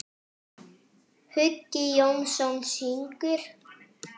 Hugi Jónsson syngur.